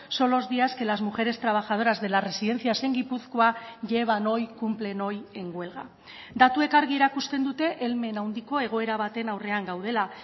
son los días que las mujeres trabajadoras de las residencias en gipuzkoa llevan hoy cumplen hoy en huelga datuek argi erakusten dute helmen handiko egoera baten aurrean gaudela